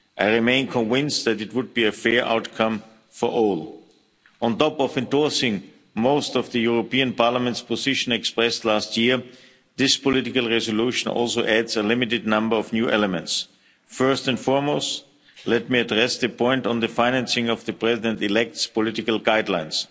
I remain convinced that it would be a fair outcome for all. On top of endorsing most of Parliament's position expressed last year, this political resolution also adds a limited number of new elements. First and foremost, let me address the point on the financing of the President-elect's political guidelines.